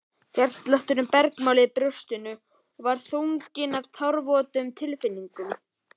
Hjartslátturinn bergmálaði í brjóstinu og var þrungið af tárvotum tilfinningum.